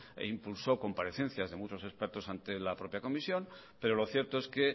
e impulsó comparecencias de muchos expertos ante la propia comisión pero lo cierto es que